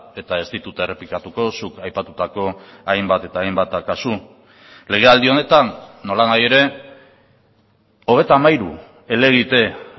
eta ez ditut errepikatuko zuk aipatutako hainbat eta hainbat kasu lege aldi honetan nola nahi ere hogeita hamairu helegite